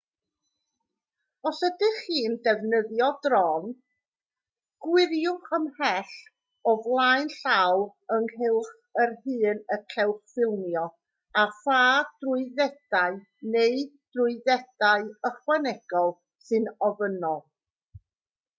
os ydych chi'n defnyddio drôn gwiriwch ymhell o flaen llaw ynghylch yr hyn y cewch ffilmio a pha drwyddedau neu drwyddedau ychwanegol sy'n ofynnol